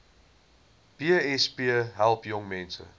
besp help jongmense